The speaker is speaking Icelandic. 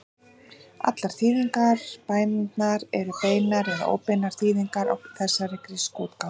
Allar þýðingar bænarinnar eru beinar eða óbeinar þýðingar á þessari grísku útgáfu.